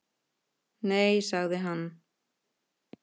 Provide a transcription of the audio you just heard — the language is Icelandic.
Nei, sagði hann.